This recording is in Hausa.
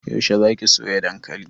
Yaushe za ki soya dankali?